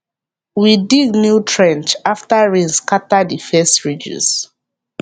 we dig new trench after rain scatter the first ridges